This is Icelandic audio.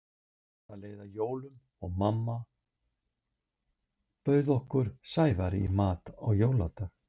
Það leið að jólum og mamma bauð okkur Sævari í mat á jóladag.